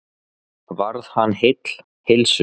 Varð hann heill heilsu.